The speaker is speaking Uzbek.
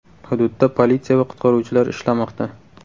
Hududda politsiya va qutqaruvchilar ishlamoqda.